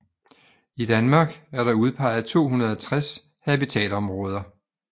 I Danmark er der udpeget 260 habitatområder